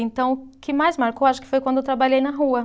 Então, o que mais marcou, acho que foi quando eu trabalhei na rua.